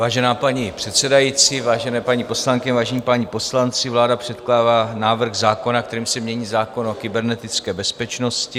Vážená paní předsedající, vážené paní poslankyně, vážení páni poslanci, vláda předkládá návrh zákona, kterým se mění zákon o kybernetické bezpečnosti.